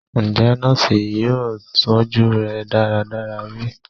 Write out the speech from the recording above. Njẹ nọọsi yoo tọju rẹ daradara bi?